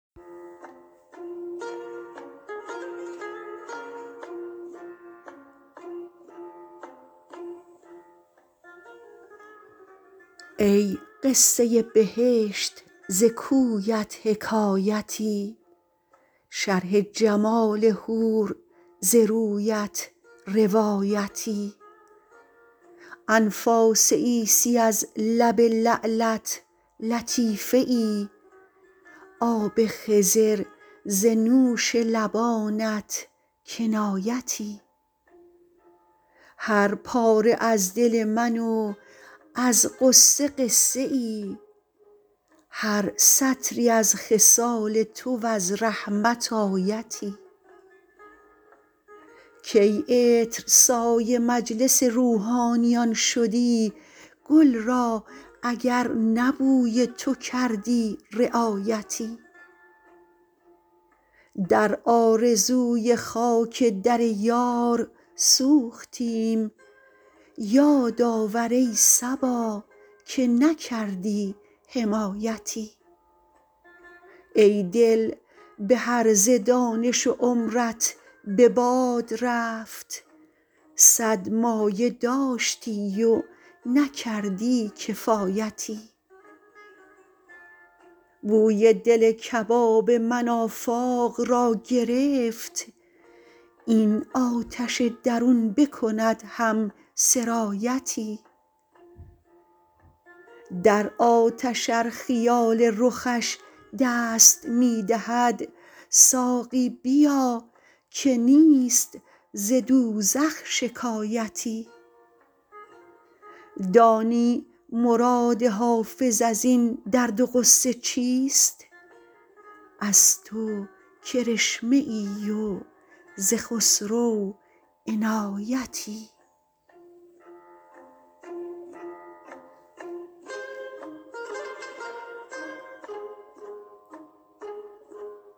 ای قصه بهشت ز کویت حکایتی شرح جمال حور ز رویت روایتی انفاس عیسی از لب لعلت لطیفه ای آب خضر ز نوش لبانت کنایتی هر پاره از دل من و از غصه قصه ای هر سطری از خصال تو و از رحمت آیتی کی عطرسای مجلس روحانیان شدی گل را اگر نه بوی تو کردی رعایتی در آرزوی خاک در یار سوختیم یاد آور ای صبا که نکردی حمایتی ای دل به هرزه دانش و عمرت به باد رفت صد مایه داشتی و نکردی کفایتی بوی دل کباب من آفاق را گرفت این آتش درون بکند هم سرایتی در آتش ار خیال رخش دست می دهد ساقی بیا که نیست ز دوزخ شکایتی دانی مراد حافظ از این درد و غصه چیست از تو کرشمه ای و ز خسرو عنایتی